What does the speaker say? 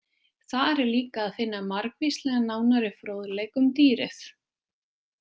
Þar er líka að finna margvíslegan nánari fróðleik um dýrið.